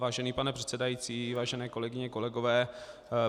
Vážený pane předsedající, vážené kolegyně, kolegové.